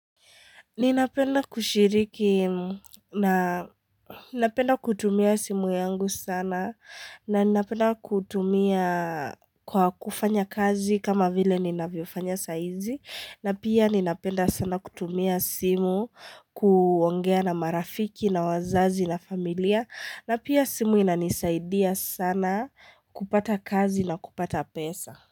Ninapenda kushiriki na napenda kutumia simu yangu sana na ninapenda kutumia kwa kufanya kazi kama vile ninavyofanya saizi, na pia ninapenda sana kutumia simu kuongea na marafiki na wazazi na familia, na pia simu inanisaidia sana kupata kazi na kupata pesa.